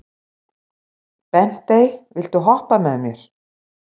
Bentey, viltu hoppa með mér?